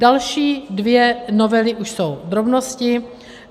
Další dvě novely už jsou drobnosti.